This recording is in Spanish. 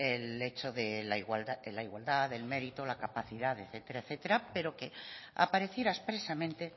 el hecho en la igualdad del mérito la capacidad etcétera pero que apareciera expresamente